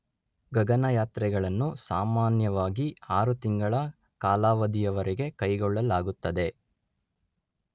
ಗಗನಯಾತ್ರೆಗಳನ್ನು ಸಾಮಾನ್ಯವಾಗಿ ಆರುತಿಂಗಳ ಕಾಲಾವಧಿಯವರೆಗೆ ಕೈಗೊಳ್ಳಲಾಗುತ್ತದೆ.